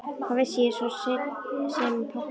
Hvað vissi ég svo sem um pabba?